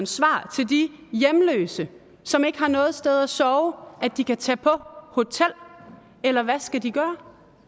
svar til de hjemløse som ikke har noget sted at sove at de kan tage på hotel eller hvad skal de gøre